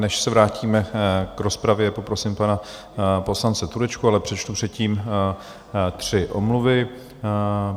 Než se vrátíme k rozpravě - poprosím pana poslance Turečka - ale přečtu předtím tři omluvy.